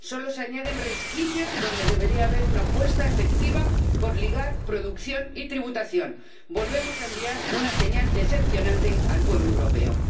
solo se añaden resquicios donde debería haber una apuesta efectiva por ligar producción y tributación. Volvemos a enviar una señal decepcionante al pueblo europeo.